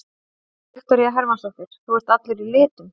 Viktoría Hermannsdóttir: Þú ert allur í litum?